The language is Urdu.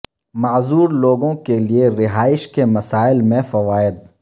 معذور لوگوں کے لئے رہائش کے مسائل میں فوائد